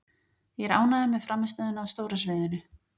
Ég er ánægður með frammistöðuna á stóra sviðinu.